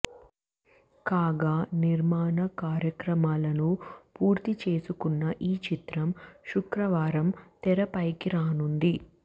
కాగా నిర్మాణ కార్యక్రమాలను పూర్తి చేసుకున్న ఈ చిత్రం శుక్రవారం తెరపైకి రానుంది